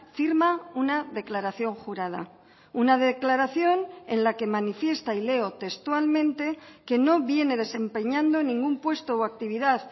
firma una declaración jurada una declaración en la que manifiesta y leo textualmente que no viene desempeñando ningún puesto o actividad